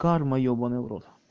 карма ёбанный в рот